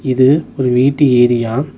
இது ஒரு வீட்டு ஏரியா .